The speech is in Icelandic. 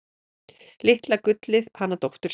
Litla gullið hana dóttur sína.